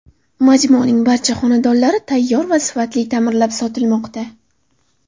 Majmuaning barcha xonadonlari tayyor va sifatli ta’mirlanib sotilmoqda.